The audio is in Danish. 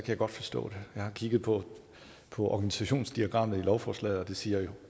jeg godt forstå det jeg har kigget på på organisationsdiagrammet i lovforslaget og det siger jo